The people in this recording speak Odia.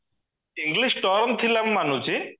english ଟର୍ନ ଥିଲା ମୁଁ ମାନୁଚି